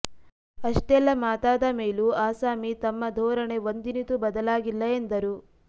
ಅಷ್ಟೆಲ್ಲಾ ಮಾತಾದ ಮೇಲೂ ಆಸಾಮಿ ತಮ್ಮ ಧೋರಣೆ ಒಂದಿನಿತೂ ಬದಲಾಗಿಲ್ಲ ಎಂದರು